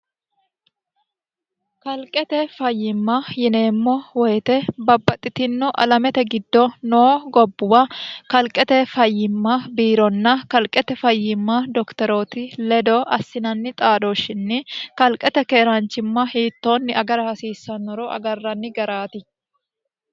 kalqete fayyimma yineemmo woyite babbaxxitinno alamete giddo noo gobbuwa kalqete fayyimma biironna kalqete fayyimma doktorooti ledo assinanni xaadooshshinni kalqete keeraanchimma hiittoonni agara hasiissannoro agarranni garaati